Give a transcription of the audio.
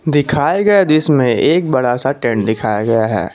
दिखाए गए दृश्य में एक बड़ा सा टेंट दिखाया गया है।